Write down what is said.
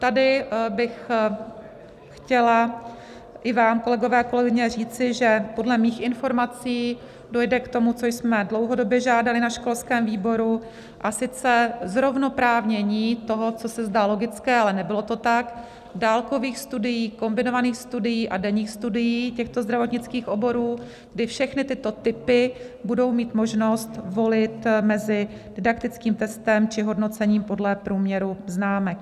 Tady bych chtěla i vám, kolegové a kolegyně, říci, že podle mých informací dojde k tomu, co jsme dlouhodobě žádali na školském výboru, a sice zrovnoprávnění toho, co se zdá logické, ale nebylo to tak, dálkových studií, kombinovaných studií a denních studií těchto zdravotnických oborů, kdy všechny tyto typy budou mít možnost volit mezi didaktickým testem či hodnocením podle průměru známek.